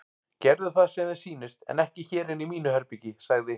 Gerðu það sem þér sýnist en ekki hér inni í mínu herbergi sagði